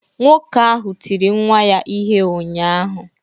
Nwoke ahụ tiri nwa ya ihe ụnyahụ